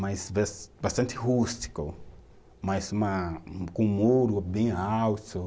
mas bas bastante rústico, mas uma, com um muro bem alto.